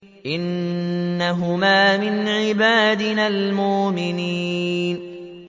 إِنَّهُمَا مِنْ عِبَادِنَا الْمُؤْمِنِينَ